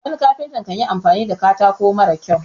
wani kafinta kan yi amfani da katako mara kyau